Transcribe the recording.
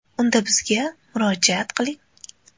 Unda bizga murojaat qiling!